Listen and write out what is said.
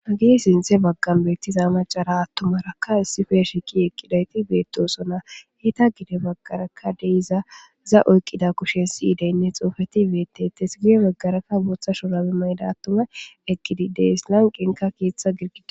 Hagey sinthe bagan betiza macara atumaraka issippe shiiq eqidayt betosona, eta gede bagaraka de'iza iza oykida kusheynne si'ileyne xufet betetes, guye bagaraka bootha shurabe mayda atumay eqid de'es, lanqenka keetha girgiday...